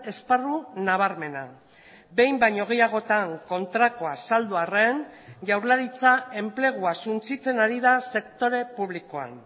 esparru nabarmena behin baino gehiagotan kontrakoa azaldu arren jaurlaritza enplegua suntsitzen ari da sektore publikoan